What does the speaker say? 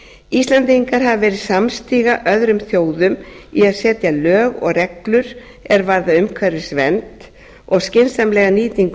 íslendingar hafa verið samstiga öðrum þjóðum í að setja lög og reglur er varða umhverfisvernd og skynsamlega nýtingu